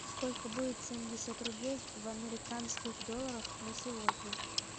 сколько будет семьдесят рублей в американских долларах на сегодня